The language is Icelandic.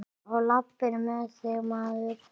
Á lappir með þig, maður!